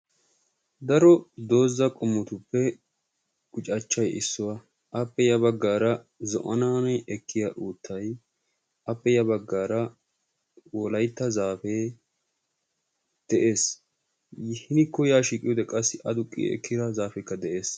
Daro dooza qommotuppe guccachchay issuwa; appe ya bagara zo'anaan ekkiya uuttay, appe ya baggara Wolaytta zaafee de'ees. hinikko ya shiiqi ekkiyoode qassi adduqi ekkiyaa zaafekka de'ees.